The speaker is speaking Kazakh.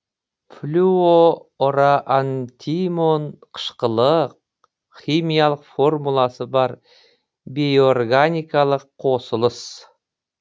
флю ороан тимон қышқылы химиялық формуласы бар бейорганикалық қосылыс